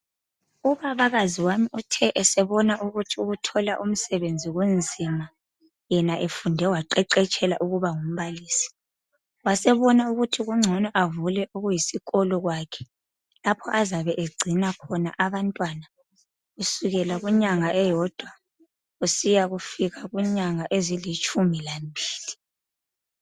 Ubabakazi uthe esebona ukuthi ukuthola umsebenzi kunzima yena efunde waqeqetshela ukuba ngumbalisi wasebona ukuthi kungcono avule okuyisikolo kwakhe lapho azabe egcina khona abantwana kusukela kunyanga eyodwa kusiyafika kunyanga ezilitshumi lambili.